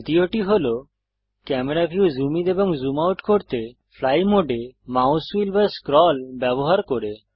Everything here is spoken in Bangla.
দ্বিতীয়টি হল ক্যামেরা ভিউ জুম ইন এবং জুম আউট করতে ফ্লাই মোডে মাউস হুইল বা স্ক্রল ব্যবহার করে